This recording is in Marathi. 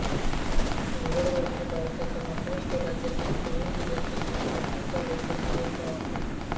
हंगरवाडी हे भारताच्या महाराष्ट्र राज्यातील पुणे जिल्ह्यातील इंदापूर तालुक्यातील एक गाव आहे